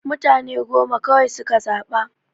Mutane goma kawai suka zaɓa.